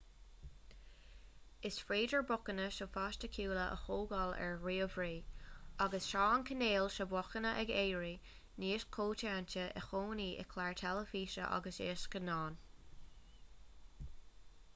is féidir beochana sofaisticiúla a thógáil ar ríomhairí agus tá an cineál seo beochana ag éirí níos coitianta i gcónaí i gcláir theilifíse agus i scannáin